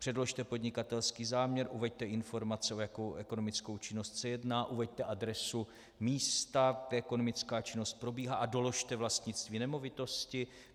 Předložte podnikatelský záměr, uveďte informace, o jakou ekonomickou činnost se jedná, uveďte adresu místa, kde ekonomická činnost probíhá, a doložte vlastnictví nemovitosti.